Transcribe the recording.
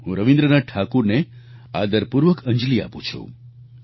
હું રવિન્દ્રનાથ ઠાકુરને આદરપૂર્વક અંજલિ આપું છું